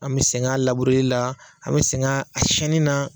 An bɛ sɛgɛn a labureri la an bɛ sɛngɛn a siɲɛnni na.